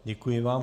Děkuji vám.